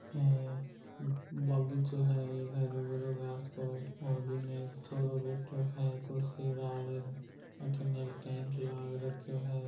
ए बागीचों है एक हरयो-भरयो घास को और बीमे एक छोरो बैठियो है कुर्सी डाल र अठीन एक टेंट लाग रख्यो है।